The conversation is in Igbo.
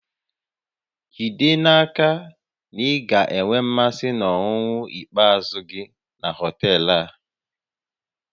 Jide n'aka na ị ga-enwe mmasị na ọnụnọ ikpeazụ gị na họtel a